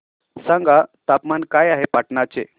सांगा तापमान काय आहे पाटणा चे